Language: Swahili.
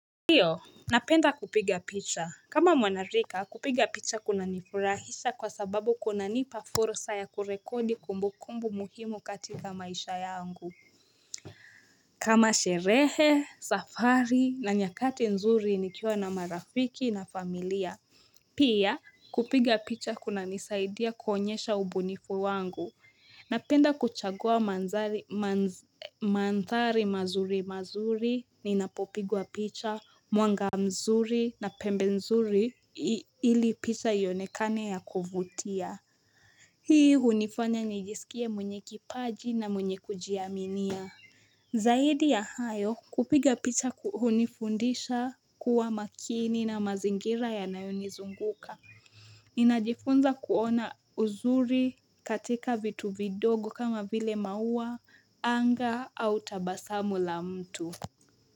Ndiyo, napenda kupiga picha. Kama mwanarika, kupiga picha kunanifurahisha kwa sababu kunanipa fursa ya kurekodi kumbukumbu muhimu katika maisha yangu. Kama sherehe, safari na nyakati nzuri nikiwa na marafiki na familia. Pia, kupiga picha kunanisaidia kuonyesha ubunifu wangu. Napenda kuchagua manthari mazuri mazuri ninapopigwa picha, mwanga mzuri na pembe mzuri ili picha ionekane ya kuvutia. Hii hunifanya nijisikie mwenye kipaji na mwenye kujiaminia. Zaidi ya hayo kupiga picha ku hunifundisha kuwa makini na mazingira yanayonizunguka. Ninajifunza kuona uzuri katika vitu vidogo kama vile maua, anga au tabasamu la mtu.